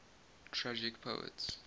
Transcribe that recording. tragic poets